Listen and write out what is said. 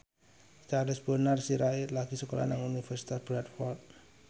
Charles Bonar Sirait lagi sekolah nang Universitas Bradford